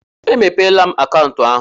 E mepeela m akaụntụ ahụ.